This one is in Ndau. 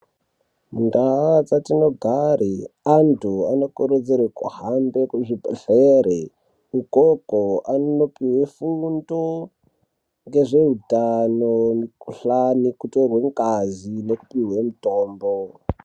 Ndaa dzatinogara neantu anokurudzirwa kuhambe Kuzvibhedhlera ukoko anondopuwa fundo yemikuhlani kutorwa ngazi nekupihwa mutombo.